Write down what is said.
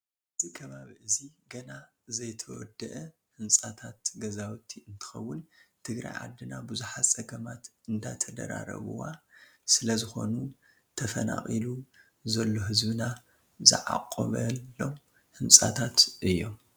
እዚ ከባቢ እዚ ገና ዘይተወደኣ ህንፃታት ገዛውቲ እንትከውን ትግራይ ዓድና ብዙሓት ፀገማት እንዳተደራረቡዋ ስለዝኮኑ ተፈናቂሉ ዘሎ ህዝብና ዝዓቆበሎም ህንፃታት እዮም።